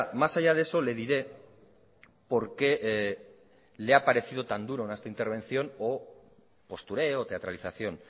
más allá de eso le diré por qué le ha parecido tan duro en esta intervención o postureo teatralización